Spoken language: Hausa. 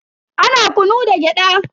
Ana kunu da gyada.